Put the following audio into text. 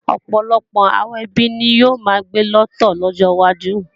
Ọ̀pọ̀lọpọ̀ àwọn ẹbí ni yóò máa gbé lọ́tọ̀ lọ́jọ wájú